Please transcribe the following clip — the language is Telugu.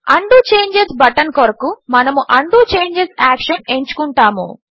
ఉండో చేంజెస్ బటన్ కొరకు మనము ఉండో చేంజెస్ యాక్షన్ ఎంచుకుంటాము